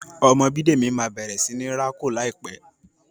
Ọmọ Bidemi má bẹrẹ sí ní rà kò láìpé.